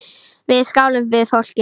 Við skálum við fólkið.